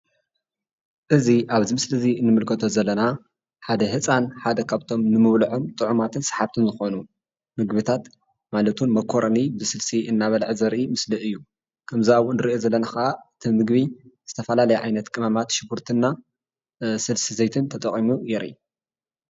እዚ ኣብዚ ምስሊ ንምልከቶ ዘለና ሓደ ህፃን ሓደ ካብቶም ንምብልዖም ጥዑማትን ሳሓብትን ዝኮኑ ምግብታት ማለት ውን ሞኮሮኒ ብስልሲ እናበለዓ ዘርኢ ምስሊ እዩ። ካብቲ ኣብኡ ንርኦ ዘለና ድማ እቲ ምግቢ ዝተፈላለዩ ዓይነት ቅመማት ሽጉርትና ስልሲ ዘይትን ተጠቂሙ የርኢ።